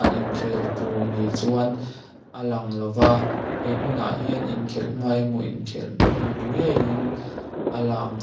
a inkhel tur ni chuan a lang lova he hmunah hian inkhelh hma emaw inkhelh hnu ni ngeiin a lang--